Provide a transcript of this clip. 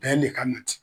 Bɛn le ka na ten